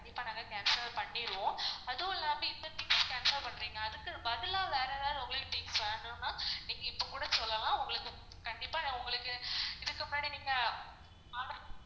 கண்டிப்பா நாங்க cancel பண்ணிருவோம் அதுவும் இல்லாம இப்ப things cancel பண்றீங்க அதுக்கு பதிலா வேற எதாவது things வேணும்னா உங்களுக்கு கண்டிப்பா நான் உங்களுக்கு இதுக்கு முன்னாடி நீங்க